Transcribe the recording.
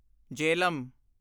Jhelum